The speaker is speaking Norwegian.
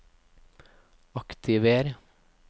aktiver